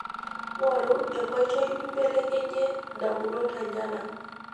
Ng'oru enkoitoi nimbeleknyie ndamunot enyana.